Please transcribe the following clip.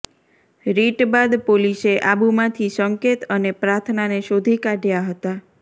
રિટ બાદ પોલીસે આબુમાંથી સંકેત અને પ્રાર્થનાને શોધી કાઢયા હતા